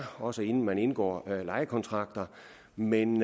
også inden man indgår lejekontrakter men